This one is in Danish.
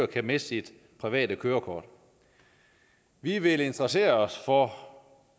kan miste sit private kørekort og vi vil interessere os for